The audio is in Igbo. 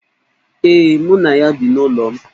Ee, mụ na ya bi n'ụlọ m.